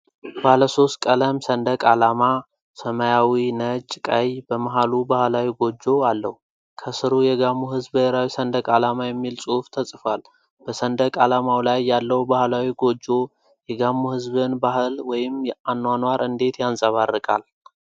ባለ ሶስት ቀለም ሰንደቅ ዓላማ (ሰማያዊ፣ ነጭ፣ ቀይ) በመሃሉ ባህላዊ ጎጆ አለው። ከሥሩ "የጋሞ ሕዝብ ብሔራዊ ሰንደቅ ዓላማ" የሚል ጽሑፍ ተጽፏል። በሰንደቅ ዓላማው ላይ ያለው ባህላዊ ጎጆ የጋሞ ሕዝብን ባህል ወይም አኗኗር እንዴት ያንጸባርቃል?